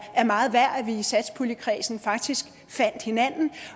meget værd at vi i satspuljekredsen faktisk fandt hinanden